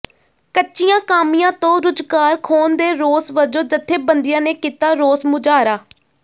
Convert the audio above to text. ਕੱਚਿਆਂ ਕਾਮਿਆਂ ਤੋਂ ਰੁਜ਼ਗਾਰ ਖੋਹਣ ਦੇ ਰੋਸ ਵਜੋਂ ਜਥੇਬੰਦੀਆਂ ਨੇ ਕੀਤਾ ਰੋਸ ਮੁਜ਼ਾਹਰਾ